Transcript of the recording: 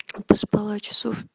поспала часов